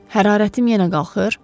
Hərarətim yenə qalxır?